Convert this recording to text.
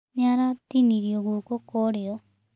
Nĩ aratinirio guoko kwa irĩo.